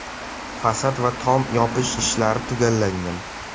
Fasad va tom yopish ishlari tugallangan.